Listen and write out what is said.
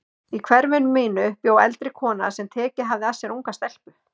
Í hverfinu mínu bjó eldri kona sem tekið hafði að sér unga stelpu.